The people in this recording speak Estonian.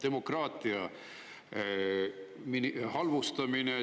Demokraatia halvustamine.